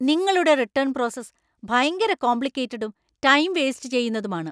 നിങ്ങളുടെ return process ഭയങ്കര കോംപ്ലിക്കേറ്റഡും, ടൈം വേസ്റ്റ് ചെയ്യുന്നതുമാണ്.